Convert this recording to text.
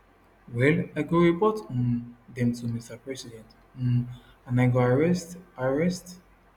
well i go report um dem to mr president um and i go arrest arrest